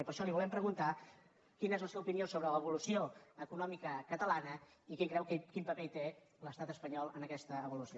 i per això li volem preguntar quina és la seva opinió sobre l’evolució econòmica catalana i quin paper creu que hi té l’estat espanyol en aquesta evolució